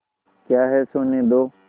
क्या है सोने दो